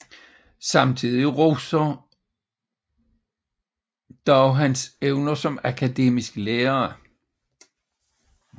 Samtidige roser dog hans evner som akademisk lærer